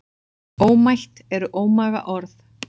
Ómætt eru ómaga orð.